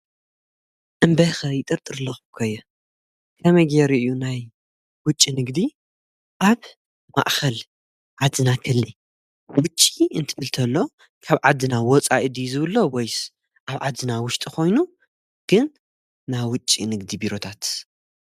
እምበይ ኸ ይጥርጥርለኹ ኮ አየ ከመይ ጌይሩ እዩ ናይ ውጭ ንግዲ ኣብ ማእኸል ዓድና ኸህሊ፡፡ ውጭ እንትብ እንትብል ተሎ ካብ ዓድና ወፃኢ ድዩ ዝብልዘሎ ወይስ ኣብ ዓድና ውሽጢ ኾይኑ ግን ናይ ውጭ ንግዲ ቢሮታት?